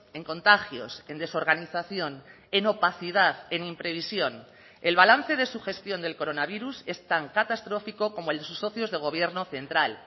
en contagios en desorganización en opacidad en imprevisión el balance de su gestión del coronavirus es tan catastrófico como el de sus socios de gobierno central